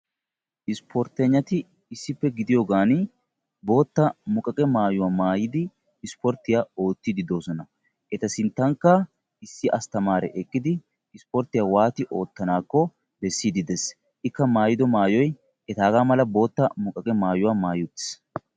ispportegnati issipe gidiyogan bootta muqaqqiya maayuwa mayidi isporttiya ootiidi de'oosona. eta sintankka issi bitanee eqqidi ootisiidi de'ees.